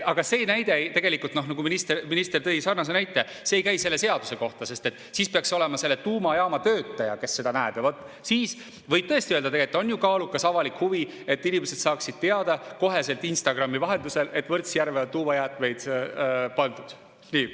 Aga see näide, minister tõi sarnase näite, see ei käi selle seaduse kohta, sest siis peaks olema selle tuumajaama töötaja, kes seda näeb, ja vaat siis võib tõesti öelda, et tegelikult on ju kaalukas avalik huvi, et inimesed saaksid teada otsekohe Instagrami vahendusel, et Võrtsjärve on tuumajäätmeid pandud.